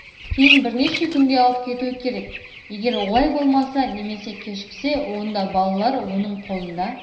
кейін бірнеше күнге алып кетуі керек егер олай болмаса немесе кешіксе онда балалар оның қолында